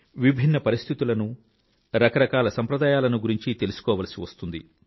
విభిన్న పరిస్థితులనూ రకరకాల సాంప్రదాయాలను గురించీ తెలుసుకోవాల్సి వస్తుంది